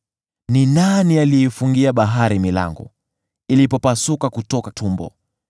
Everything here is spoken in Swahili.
“Ni nani aliyeifungia bahari milango ilipopasuka kutoka tumbo,